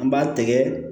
An b'a tɛgɛ